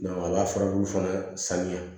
a ka furabulu fana sanuya